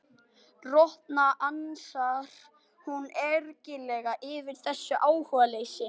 Rotna, ansar hún ergileg yfir þessu áhugaleysi.